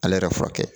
Ale yɛrɛ furakɛ